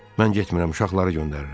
Mən getmirəm, uşaqları göndərirəm.